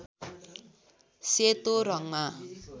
सेतो रङ्गमा